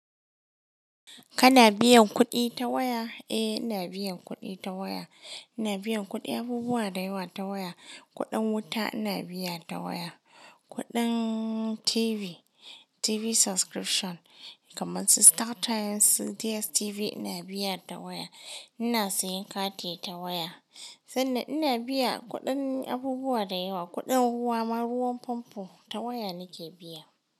Kana biyan kuɗi ta waya? Eh ina biyan kuɗi ta waya. Ina biyan kuɗin abubuwa da yawa ta waya. Kuɗin wuta ina biya ta waya, kuɗin TV, TV subscription kamar su Startimes da DSTV ina biya ta waya. Ina siyan kati ta waya sanda ina biya kuɗin abubuwa da yawa. Kuɗin ruwa ma, ruwan famfo ta waya nake biya.